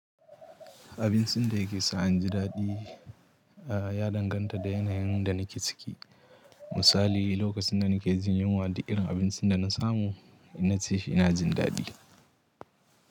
Abincin da yake sa inji daɗi, a ya danganta da yanayin da nake ciki. Misali lokacin da nake jin yunwa duk irin abincin da na samu, in na ci shi ina jin daɗi.